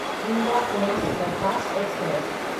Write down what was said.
indoor Pune superfast express